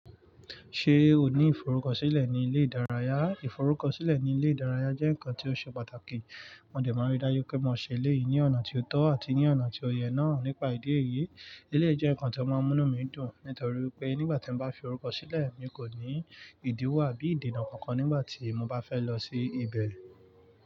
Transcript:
Ṣé o ní ìforúkọsílẹ̀ ní ilé ìdárayá? Ìforúkọsílẹ̀ ní ilé ìdárayá jẹ́ nǹkan tí ó ṣe pàtàkì. Mo dẹ̀ máa rí dájú pé mo ṣe eléyìí ní ọ̀nà tí ó tọ́ àti ní ọ̀nà tí ó yẹ náà nípa ìdí èyí. Eleyi jẹ́ ǹkan tí ó máa ń mú mí dùn, nítorí pé nígbà tí mo bá fi orúkọ sílẹ̀, mi kò ní ìdíwọ̀ àbí ìdènà kankan nígbà tí mo bá fẹ́ lọ sí ibẹ̀.